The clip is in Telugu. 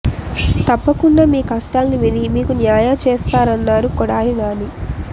తప్పకుండా మీ కష్టాల్ని విని మీకు న్యాయ చేస్తారన్నారు కొడాలి నాని